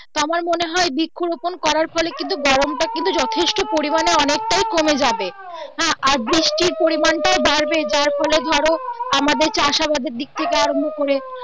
তা আমার মনে হয় বৃক্ষরোপন করার ফলে কিন্তু গরম টা কিন্তু যথেষ্ট পরিমানে অনেকটাই কমে যাবে হ্যা আর বৃষ্টি র পরিমান টা বাড়বে যার ফলে ধরো আমাদের চাষাবাদের দিক থেকে আরম্ভ করে